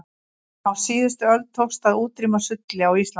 á síðustu öld tókst að útrýma sulli á íslandi